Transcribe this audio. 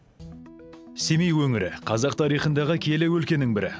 семей өңірі қазақ тарихындағы киелі өлкенің бірі